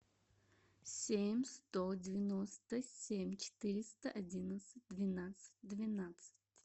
семь сто девяносто семь четыреста одиннадцать двенадцать двенадцать